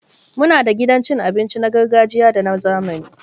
Muna da gidan cin abinci na gargajiya da na zamani